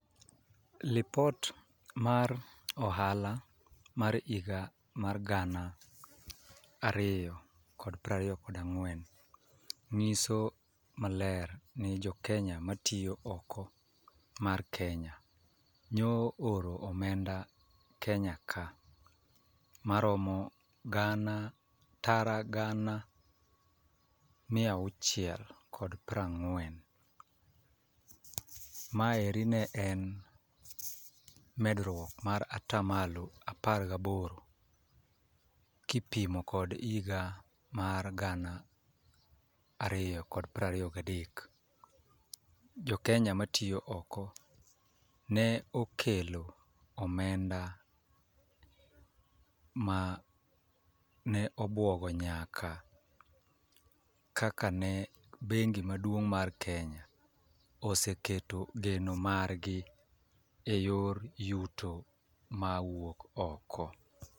Lipot mar ohala mar higa mar gana ariyo kod prariyo kod ang'wen, nyiso maler ni jo Kenya matiyo oko mar Kenya nyo oro omenda Kenya ka maromo gana tara gana mia auchiel kod prang'wen. Mae eri ne en medruok mar ataa malo apar gi aboro kipimo kod iga mar gana ariyo kod prariyo ga adek. Jo kenya matiyo oko ne okelo omenda ma ne obuogo nyaka kaka ne bengi maduong' mar Kenya oseketo geno margi eyor yuto mawuok oko.